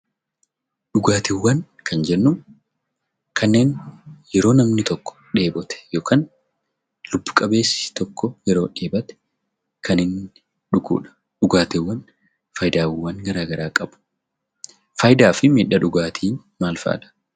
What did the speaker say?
Dhugaatiiwwan Kan jennu; kanneen yeroo namni tokko dheebote ykn lubbu qabeessi tokko yeroo dheebote Kan inni dhugudha. Dhugaatiiwwan faayidaawwan garagaraa qabu. Faayidaafi maddi dhugaatii maal faadha?